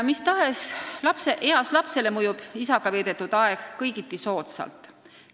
Mis tahes eas lapsele mõjub isaga veedetud aeg kõigiti soodsalt.